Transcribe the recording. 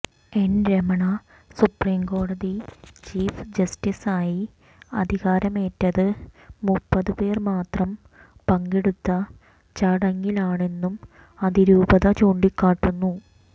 N Ramana സുപ്രീംകോടതി chief ജസ്റ്റിസായി അധികാരമേറ്റത് മുപ്പത് പേർ മാത്രം പങ്കെടുത്ത ചടങ്ങിലാണെന്നും അതിരൂപത ചൂണ്ടിക്കാട്ടുന്നു